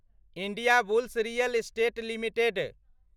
Indiabulls real estate limited